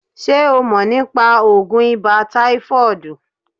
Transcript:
Ṣé o mọ̀ nípa oògùn ibà táífọ̀ọ̀dù?